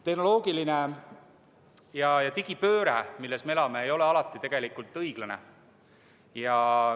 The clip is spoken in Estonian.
Tehnoloogiline digipööre, milles me elame, ei ole igas mõttes õiglane.